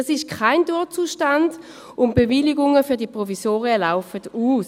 Dies ist kein Dauerzustand, und die Bewilligungen für die Provisorien laufen 2024 aus.